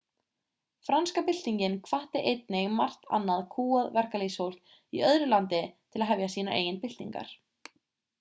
franska byltingin hvatti einnig margt annað kúgað verkalýðsfólk í öðru landi til að hefja sínar eigin byltingar